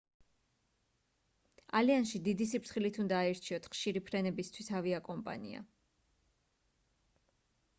ალიანსში დიდი სიფრთხილით უნდა აირჩიოთ ხშირი ფრენებისთვის ავიაკომპანია